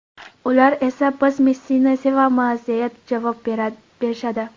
Ular esa: ‘Biz Messini sevamiz’, deya javob berishadi.